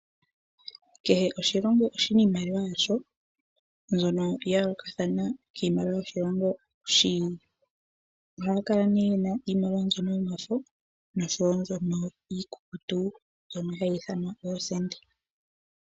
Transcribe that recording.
Kehe oshilongo oshina iimaliwa yasho mbyono ya yooloka noshilongo shi ili. Ohaya kala yena iimaliwa yomafo nosho wo iikukutu mbyono hayi ithanwa oosenda.